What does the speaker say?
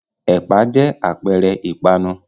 Ẹ̀pà jẹ́ àpẹẹrẹ ìpanu.